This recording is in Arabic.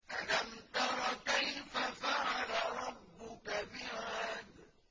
أَلَمْ تَرَ كَيْفَ فَعَلَ رَبُّكَ بِعَادٍ